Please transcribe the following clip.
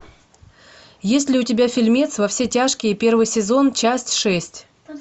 есть ли у тебя фильмец во все тяжкие первый сезон часть шесть